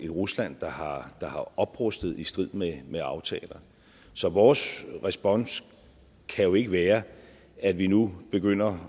rusland der har oprustet i strid med med aftalen så vores respons kan jo ikke være at vi nu begynder